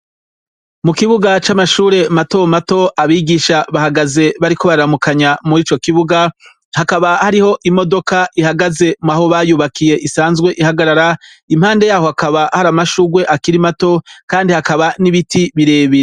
Mukibuga c'amashuri matomato abigisha bahagaze bariko bararamukanya. Mwico kibuga hakaba hariho imodoka ihagaze aho bayubakiye isanzwe ihagarara impande yaho hakaba hari amashurwe akirimato kandi hakaba n'ibiti birebire.